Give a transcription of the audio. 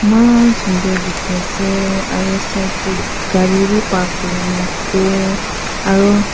Emaan sundur dekheyse aro side dae gari vhi park kurina ase aro--